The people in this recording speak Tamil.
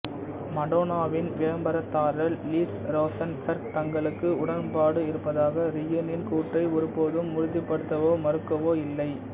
மடோனாவின் விளம்பரதாரர் லிஸ் ரோசன்பெர்க் தங்களுக்கு உடன்பாடு இருப்பதாக ரீகனின் கூற்றை ஒருபோதும் உறுதிப்படுத்தவோ மறுக்கவோ இல்லை